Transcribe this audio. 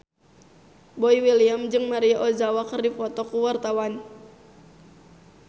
Boy William jeung Maria Ozawa keur dipoto ku wartawan